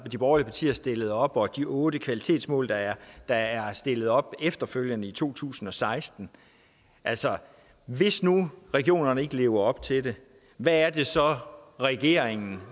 de borgerlige partier stillede op og de otte kvalitetsmål der er der er stillet op efterfølgende i to tusind og seksten altså hvis nu regionerne ikke lever op til det hvad er det så regeringen